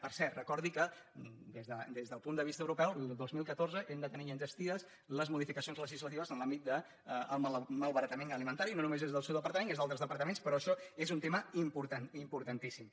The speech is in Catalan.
per cert recordi que des del punt de vista europeu el dos mil catorze hem de tenir ja enllestides les modificacions le·gislatives en l’àmbit del malbaratament alimentari no només des del seu departament des d’altres departa·ments però això és un tema importantíssim